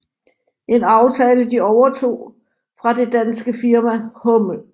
En aftale de overtog fra det danske firma Hummel